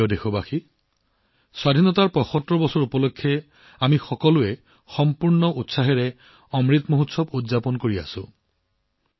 মোৰ প্ৰিয় দেশবাসী স্বাধীনতাৰ ৭৫ বছৰ সম্পূৰ্ণ হোৱাৰ উপলক্ষে আমি সকলোৱে পূৰ্ণ উৎসাহেৰে অমৃত মহোৎসৱ উদযাপন কৰিছো